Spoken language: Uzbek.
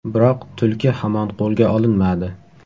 Biroq tulki hamon qo‘lga olinmadi.